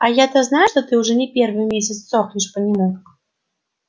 а я-то знаю что ты уже не первый месяц сохнешь по нему